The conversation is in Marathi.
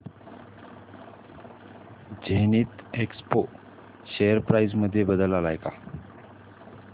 झेनिथएक्सपो शेअर प्राइस मध्ये बदल आलाय का